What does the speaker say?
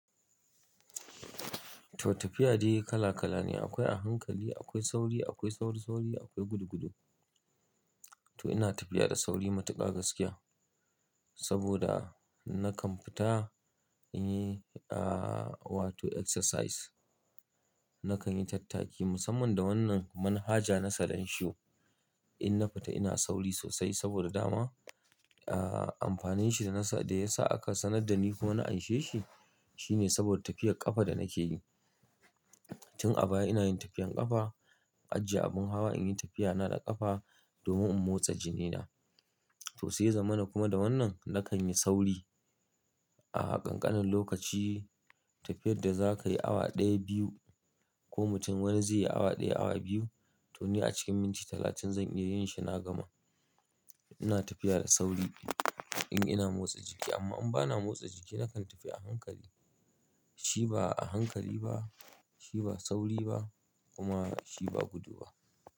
Toh tafiya dai kala kala ne. Akwai a hankali, akwai sauri, akwai sauri sauri, akwai gudu gudu. Toh ina tafiya da sauri matuƙa gaskiya saboda nakan fita in yi wato exercise. Nakan yi tattaki musamman da wannan manhaja na sanin shi. In na fita ina sauri sosai saboda dama amfanin shi da ya sa aka sanar da ni kuma na anshe shi, shine saboda tafiyar ƙafa da nake yi. Tun a baya ina yin tafiyan ƙafa, ajiye abin hawa in yi tafiyana da ƙafa domin in motsa jinina. Toh sai zamanin kuma da wannan nakan yi sauri. A ƙanƙanin lokaci tafiyar da za ka yi awa ɗaya, biyu ko mutum wani zai yi awa ɗaya, awa biyu toh ni a cikin minti talatin zan iya yin shi na gama. Ina tafiya da sauri in ina motsa jiki amma in bana motsa jiki nakan tafi a hankali. Shi ba a hankali ba, shi ba sauri ba kuma shi ba gudu ba.